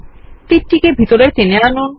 তীরটিকে ভেতরে টেনে আনুন